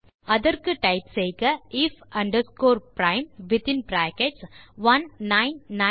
அதற்கு டைப் செய்க if prime of